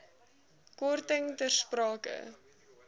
korting ter sprake